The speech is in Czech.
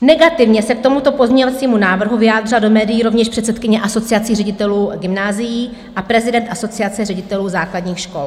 Negativně se k tomuto pozměňovacímu návrhu vyjádřila do médií rovněž předsedkyně Asociace ředitelů gymnázií a prezident Asociace ředitelů základních škol.